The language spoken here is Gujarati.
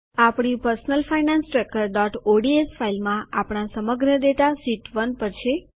આપણી પર્સનલ ફાયનાન્સ ટ્રેકરઓડીએસ ફાઈલમાં આપણા સમગ્ર ડેટા શીટ ૧ પર છે